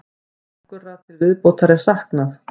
Nokkurra til viðbótar er saknað.